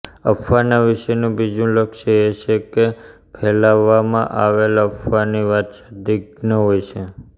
અફવાના વિષયનું બીજું લક્ષણ એ છે કે ફેલાવવામાં આવેલ અફવાની વાત સંદિગ્ધ હોય છે